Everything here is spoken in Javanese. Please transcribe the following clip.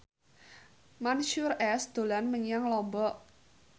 Mansyur S dolan menyang Lombok